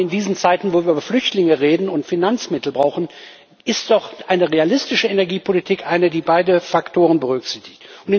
Gerade in diesen Zeiten, wo wir über Flüchtlinge reden und Finanzmittel brauchen, ist doch eine realistische Energiepolitik eine, die beide Faktoren berücksichtigt.